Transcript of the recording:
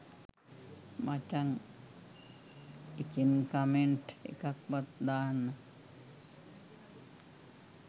මචං එකෙන් කමෙන්ට් එකක් වත් දාන්න